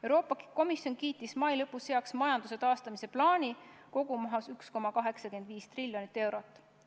Euroopa Komisjon kiitis mai lõpus heaks majanduse taastamise plaani, mille kogumaht on 1,85 triljonit eurot.